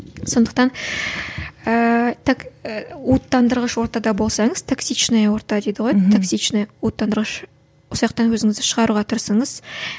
сондықтан ііі так уыттандырғыш ортада болсаңыз токсичная орта дейді ғой токсичная уыттандырғыш өзіңізді шығаруға тырысыңыз